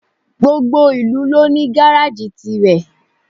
Gbogbo ìlú ló ní gáráàjì tirẹ̀.